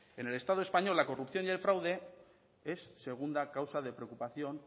en el estado español la corrupción y el fraude es segunda causa de preocupación